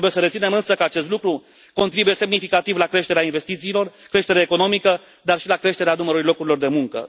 Trebuie să reținem, însă, că acest lucru contribuie semnificativ la creșterea investițiilor, la creșterea economică, dar și la creșterea numărului locurilor de muncă.